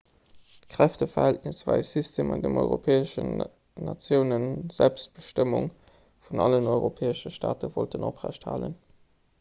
d'kräfteverhältnis war e system an deem europäesch natiounen d'national selbstbestëmmung vun allen europäesche staate wollten oprecht halen